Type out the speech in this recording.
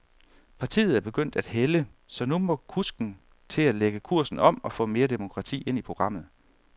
Partiet er begyndt at hælde, så nu må kusken til at lægge kursen om, og få mere demokrati ind i programmet.